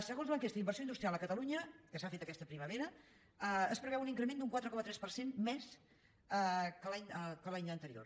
segons l’enquesta d’inversió industrial a catalunya que s’ha fet aquesta primavera es preveu un increment d’un quatre coma tres per cent més que l’any anterior